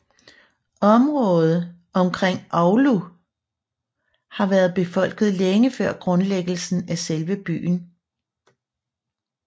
Området omkring Oulu har været befolket længe før grundlæggelsen af selve byen